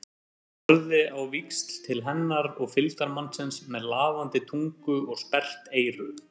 Hann horfði á víxl til hennar og fylgdarmannsins með lafandi tungu og sperrt eyru.